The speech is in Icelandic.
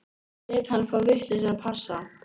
Ég lét hann fá vitlausan passa.